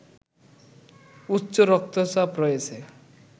উচ্চ রক্তচাপ রয়েছে